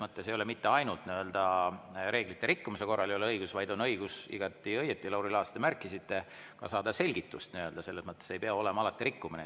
" Nii et selles mõttes ei ole mitte ainult reeglite rikkumise korral õigus, vaid on õigus – Lauri Laats, te märkisite igati õigesti – ka saada selgitust, ei pea alati olema rikkumine.